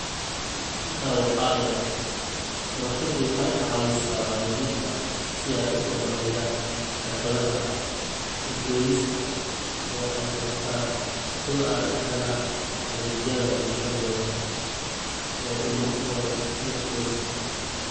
Intaa waxaa dheer, shabakadu waxay caawisaa waalidiinta si ay u horumariyaan xirfadaha u doodista oo ay bartaan sida ay u helaan adeegyada bulshadooda ee ilmahooda iyo qoyska.